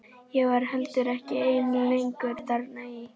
Ég var heldur ekki ein lengur þarna í